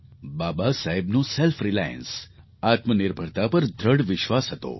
બાબાસાહેબનો self reliance આત્મનિર્ભરતા પર દૃઢ વિશ્વાસ હતો